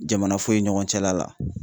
Jamana foyi ɲɔgɔn cɛla la.